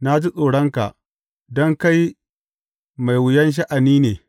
Na ji tsoronka, don kai mai wuyan sha’ani ne.